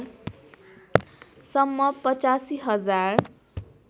सम्म ८५ हजार